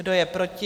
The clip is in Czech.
Kdo je proti?